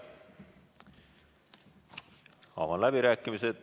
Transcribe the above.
Avan läbirääkimised.